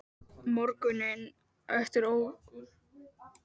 Morguninn eftir ók Jóhann Maríu út á flugvöll.